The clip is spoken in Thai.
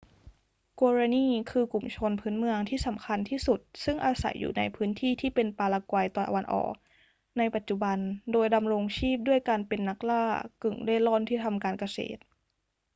guaraní คือกลุ่มชนพื้นเมืองที่สำคัญที่สุดซึ่งอาศัยอยู่ในพื้นที่ที่เป็นปารากวัยตะวันออกในปัจจุบัน โดยดำรงชีพด้วยการเป็นนักล่ากึ่งเร่ร่อนที่ทำการเกษตร